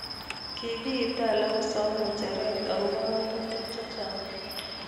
Kikietee alak kosam ngecheret akoba ngatutik chechang.